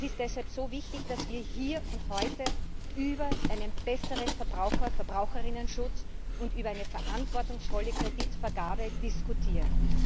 Es ist deshalb so wichtig, dass wir hier und heute über einen besseren Verbraucher und Verbraucherinnenschutz und über eine verantwortungsvolle Kreditvergabe diskutieren!